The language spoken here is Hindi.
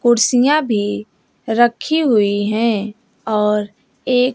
कुर्सियां भी रखी हुई है और एक--